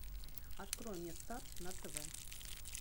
открой мне старт на тв